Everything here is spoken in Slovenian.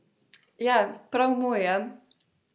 Ja, pa prav moj, ja!